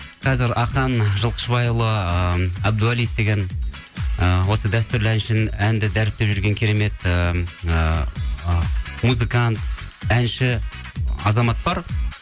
қазір ахан жылқышыбайұлы ы әбдуалиев деген ы осы дәстүрлі әнді дәріптеп жүрген керемет ыыы музыкант әнші азамат бар